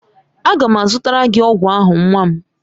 Aga m azụtara gị ọgwụ ahụ nwa m